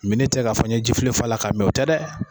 Mini tɛ ka fɔ n ye ji flen fa la ka min o tɛ dɛ.